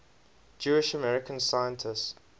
jewish american scientists